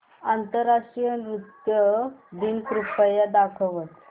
आंतरराष्ट्रीय नृत्य दिन कृपया दाखवच